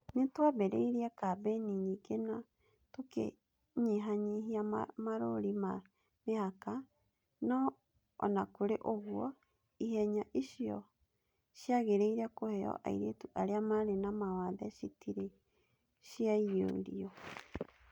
Nĩ twambĩrĩirie kambĩini nyingĩ na tũkĩnyihanyihia marũũri ma mĩhaka, no o na kũrĩ ũguo, ihenya icio ciagĩrĩire kũheo airĩtu arĩa marĩ na mawathe citirĩ ciaiyũrio.